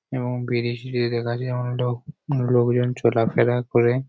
এবং ব্রিজ দিয়ে দেখা যায় অনেক লোক লোকজন চলাফেরা করে।